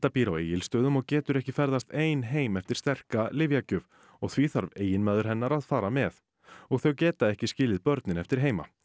býr á Egilsstöðum og getur ekki ferðast ein heim eftir sterka lyfjagjöf og því þarf eiginmaður hennar að fara með og þau geta ekki skilið börnin eftir heima